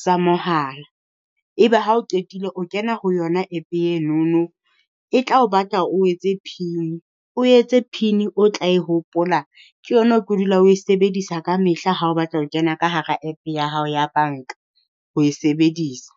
sa mohala. Ebe ha o qetile o kena ho yona App enono e tla o batla o etse pin o etse pin o tla e hopola ke yona o tlo dula oe sebedisa ka mehla ha o batla ho kena ka hara App ya hao ya banka ho e sebedisa.